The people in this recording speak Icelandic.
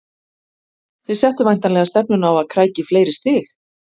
Þið settuð væntanlega stefnuna á að krækja í fleiri stig?